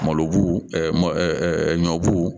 Malo bu ɲɔbu